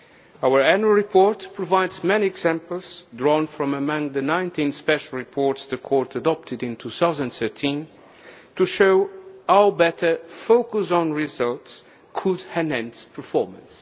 change. Our annual report provides many examples, drawn from among the 19 special reports the Court adopted in 2013, to show how better focus on results could enhance performance.